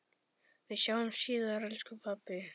Við sjáumst síðar, elsku pabbi.